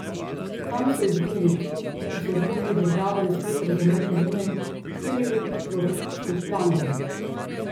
Kam so izginili ti, ki so zmogli državo in svet razumeti zunaj štiriletnih proračunskih planov?